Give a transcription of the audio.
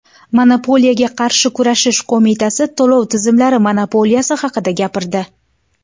Monopoliyaga qarshi kurashish qo‘mitasi to‘lov tizimlari monopoliyasi haqida gapirdi.